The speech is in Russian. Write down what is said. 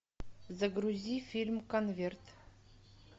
загрузи фильм конверт